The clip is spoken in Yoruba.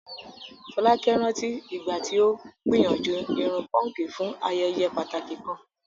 Folake rántí ìgbà tí ó gbìyànjú irun púnkì fún ayẹyẹ pàtàkì kan.